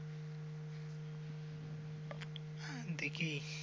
দেখি